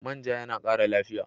Man ja yana ƙara lafiya.